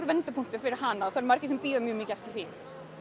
vendipunktur fyrir hana og margir sem bíða eftir því